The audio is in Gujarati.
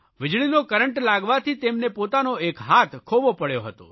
વીજળીનો કરંટ લાગવાથી તેમને પોતાનો એક હાથ ખોવો પડ્યો હતો